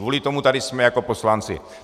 Kvůli tomu tady jsme jako poslanci.